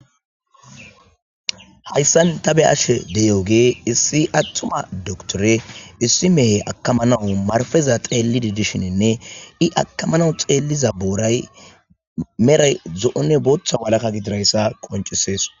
Hayssan ta be'ashe de'iyooge issi attuma dokitore issi mehe akkamanawu marpeza xeellidii dishininne i akkamanaw xeelliza booray meray zo'onne booththa walaka gididayssa qonccises